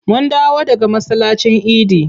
Mun dawo daga masallacin idi.